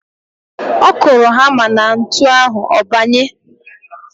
Ọ kụrụ hamá na ntu ahụ, ọ banye.